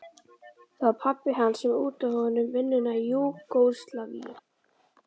Það var pabbi hans sem útvegaði honum vinnuna í Júgóslavíu.